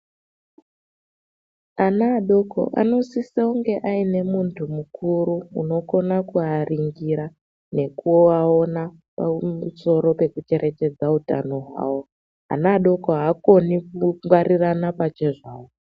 Ana adoko anosisa kunge aine muntu mukuru unokona kuaringira nekuaona pamusoro pekucherechedza utano hwavo ana adoko aakoni kungwarirana pachezvavo.